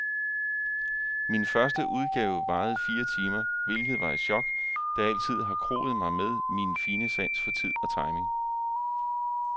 Min første udgave varede fire timer, hvilket var et chok, da jeg altid har kroet mig med min fine sans for tid og timing.